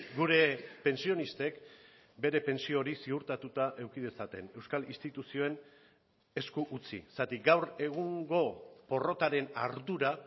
gure pentsionistek bere pentsio hori ziurtatuta eduki dezaten euskal instituzioen esku utzi zergatik gaur egungo porrotaren ardura